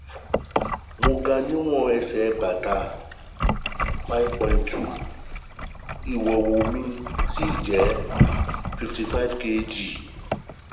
Mo ga ní ìwọ̀n um ẹsẹ̀ bàtà 5'2'', Ìwúwo um (weight) mí sì jẹ́ 55 kg